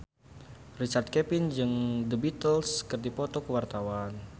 Richard Kevin jeung The Beatles keur dipoto ku wartawan